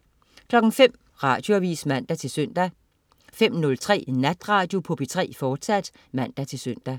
05.00 Radioavis (man-søn) 05.03 Natradio på P3, fortsat (man-søn)